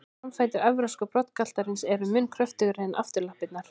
Framfætur evrópska broddgaltarins eru mun kröftugri en afturlappirnar.